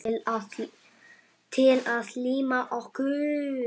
Til að líma okkur.